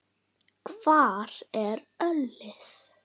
Hvar er ölið?